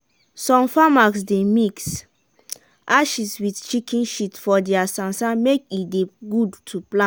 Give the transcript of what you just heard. some farmers dey mix ashes wit chicken shit for dia sansan make e dey good to plant.